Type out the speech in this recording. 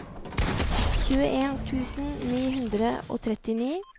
tjueen tusen ni hundre og trettini